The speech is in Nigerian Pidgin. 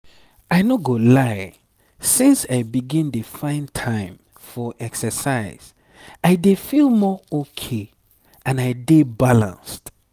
i no go lie since i begin dey find time for exercise i dey feel more okay and i dey balanced.